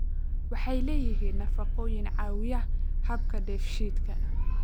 Waxay leeyihiin nafaqooyin caawiya habka dheefshiidka.